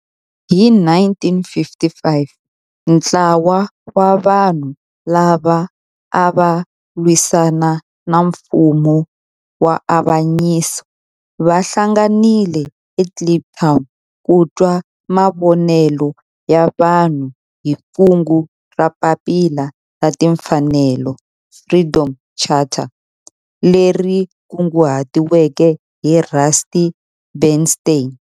Hi 1955 ntlawa wa vanhu lava ava lwisana na nfumo wa avanyiso va hlanganile eKliptown ku twa mavonelo ya vanhu hi kungu ra Papila ra Tinfanelo, Freedom Charter, leri kunguhatiweke hi Rusty Bernstein.